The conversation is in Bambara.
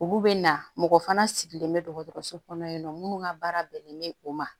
Olu bɛ na mɔgɔ fana sigilen bɛ dɔgɔtɔrɔso kɔnɔ yen nɔ minnu ka baara bɛnnen bɛ o ma